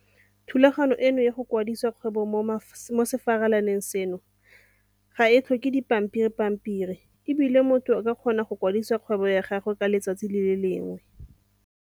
Thulaganyo eno ya go kwadisa kgwebo mo sefalaneng seno ga e tlhoke dipampiripampiri e bile motho o tla kgona go kwadisa kgwebo ya gagwe ka letsatsi le le lengwe.